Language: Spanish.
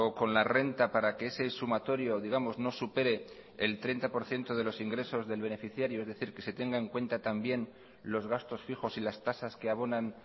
con la renta para que ese sumatorio digamos no supere el treinta por ciento de los ingresos del beneficiario es decir que se tenga en cuenta también los gastos fijos y las tasas que abonan